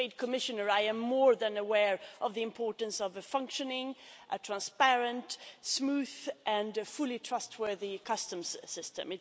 As Trade Commissioner, I am more than aware of the importance of a functioning, transparent, smooth and fully trustworthy customs system.